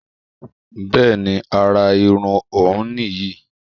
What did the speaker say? Bẹ́ẹ̀ni àrà irun òun nì yí